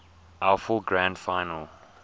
afl grand final